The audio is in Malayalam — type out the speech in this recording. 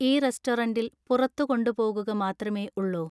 ഈ റെസ്റ്റോറന്റിൽ പുറത്ത് കൊണ്ട് പോകുക മാത്രമേ ഉള്ളോ